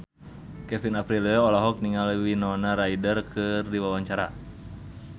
Kevin Aprilio olohok ningali Winona Ryder keur diwawancara